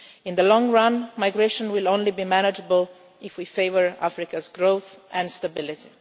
In the long run, migration will only be manageable if we favour Africa's growth and stability.